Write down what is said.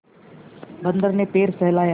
बंदर ने पैर सहलाया